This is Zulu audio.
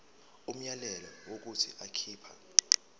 umyalelo wokuthi akhipha